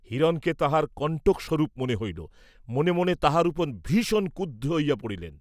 হিরণকে তাঁহার কণ্টক স্বরূপ মনে হইল, মনে মনে তাহার উপর ভীষণ ক্রুদ্ধ হইয়া পড়িলেন।